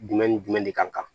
Jumɛn ni jumɛn de ka kan